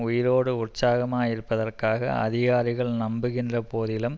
உயிரோடு உற்சாகமாகயிருப்பதற்காக அதிகாரிகள் நம்புகின்ற போதிலும்